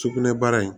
Sugunɛbara in